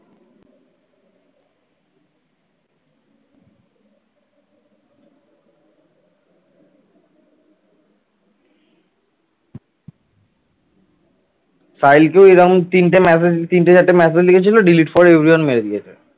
সাহিল কে এরকম তিনটে massage তিনটে চারটে massage লিখেছিল delete for everyone মেরে দিয়েছে ।